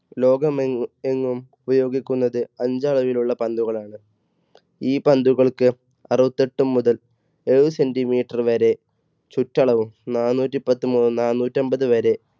ലോകമെങ്ങും എങ്ങും ഉപയോഗിക്കുന്നത് അഞ്ച് അളവിലുള്ള പന്തുകളാണ്. ഈ പന്തുകൾക്ക് അറുപത്തെട്ടു മുതൽ എഴുപത് centimeter വരെ ചുറ്റളവും നാനൂറ്റി പത്ത് മുതല നാനൂറ്റി അൻപത് വരെ